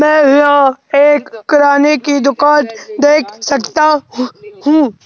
मैं यहां एक कराने की दुकान देख सकता हूं।